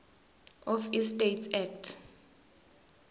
of estates act